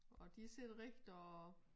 Og sidder rigtig og